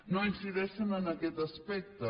no incideixen en aquest aspecte